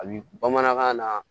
A bi bamanankan na